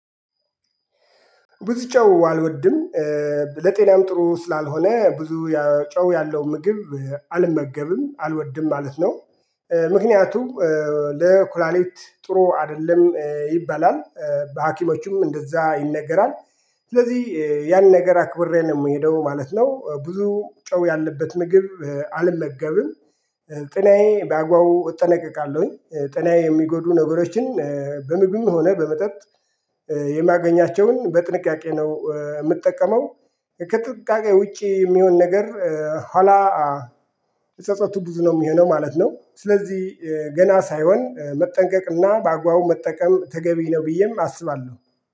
ብዙ ጨው አልወድም ለጤናም ጥሩ ስላልሆነ ብዙ ጨው ያለው ምግብ አልመገብም አልወድም ማለት ነው ምክንያቱም ለኩላሌት ጥሩ አይደለም ይባላል በሀኪሞቹም እንደዛ ይነገራል ስለዚህ ያን ነገር አክብሬ ነው የምሄደው ማለት ነው ብዙ ጨው ያለበት ምግብ አልመገብም ጤናዬ በአግባቡ እጠነቀቃለሁኝ ጤናዬ የሚጎዱ ነገሮችን በምግብም ሆነ በመጠጥ የማገኛቸውን በጥንቃቄ ነው? ምጠቀመው ከጥንቃቄ ውጪ የሚሆን ነገር ኋላ? ጸጸቱ ብዙ ነው የሚሆነው ማለት ነው ስለዚህ ገና ሳይሆን መጠንቀቅና በአግባቡ መጠቀም ተገቢ ነው ብዬም አስባለሁ